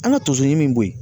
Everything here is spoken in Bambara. An ka tonso ɲimi min bɔ yen.